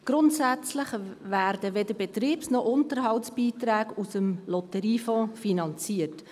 Grundsätzlich werden weder Betriebs- noch Unterhaltsbeiträge aus dem Lotteriefonds finanziert.